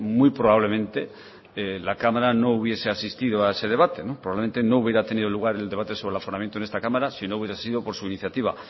muy probablemente la cámara no hubiese asistido a ese debate probablemente no hubiera tenido lugar el debate sobre el aforamiento en esta cámara si no hubiera sido por su iniciativa